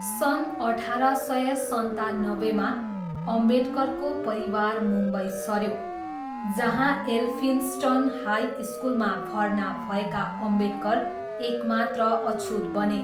सन् अठार सय सन्तानब्बेमा, अम्बेडकरको परिवार मुम्बई सऱ्यो, जहाँ एल्फिन्स्टन हाई स्कुलमा भर्ना भएका अम्बेडकर एकमात्र अछुत बने।